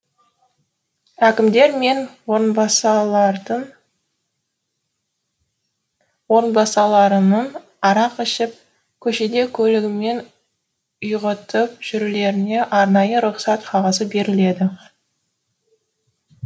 әкімдер мен орынбасарларының арақ ішіп көшеде көлігімен құйғытып жүрулеріне арнайы рұхсат қағазы беріледі